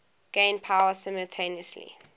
gain power simultaneously